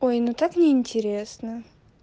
ой ну так неинтересно